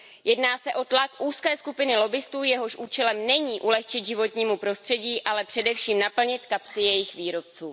Jedná se o tlak úzké skupiny lobbistů, jehož účelem není ulehčit životnímu prostředí, ale především naplnit kapsy jejich výrobcům.